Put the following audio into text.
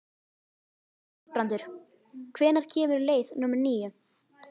Þorbrandur, hvenær kemur leið númer níu?